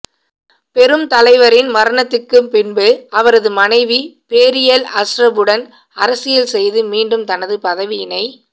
பெருந்தலைவரின் மரணத்துக்கு பின்பு அவரது மனைவி பேரியல் அஸ்ரபுடன் அரசியல் செய்து மீண்டும் தனது பதவியினை